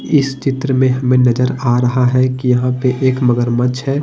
इस चित्र में हमें नजर आ रहा है कि यहां पे एक मगरमच्छ है।